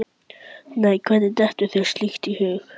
Nei, hvernig dettur þér slíkt í hug?